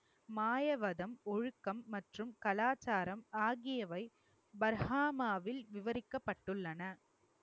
மாயவதம், ஒழுக்கம், மற்றும் கலாச்சாரம் ஆகியவை பர்காமாவில் விவரிக்கப்பட்டுள்ளன